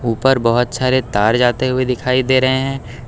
ऊपर बहोत सारे तार जाते हुए दिखाई दे रहे हैं।